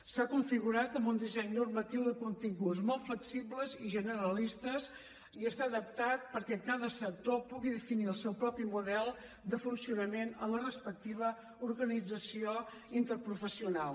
s’ha configurat amb un disseny normatiu de continguts molt flexibles i generalistes i està adaptat perquè cada sector pugui definir el seu propi model de funcionament en la respectiva organització interprofessional